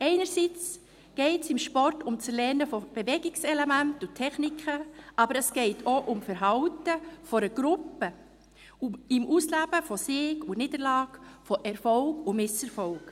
Einerseits geht es im Sport um das Erlernen von Bewegungselementen und Techniken, aber es geht auch um das Verhalten einer Gruppe, um das Ausleben von Sieg und Niederlage, von Erfolg und Misserfolg.